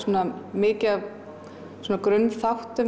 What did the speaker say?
mikið af grunnþáttum